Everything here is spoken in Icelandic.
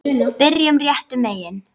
Byrjum réttum megin.